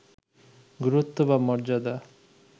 গুরুত্ব বা মর্যাদা